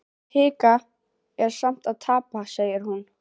Að hika er sama og tapa, segir hún.